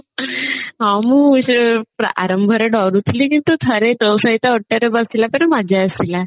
ହଁ ମୁଁ ସେଇ ଆରମ୍ଭରେ ଡରୁଥିଲି କିନ୍ତୁ ଥରେ ତୋ ସହିତ ଓଟରେ ବସିଲା ପରେ ମଜା ଆସିଲା